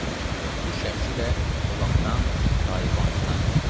Və bu şəxsi də o vaxtdan qayibani tanıyırdım.